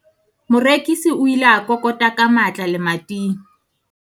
morekisi o ile a kokota ka matla lemating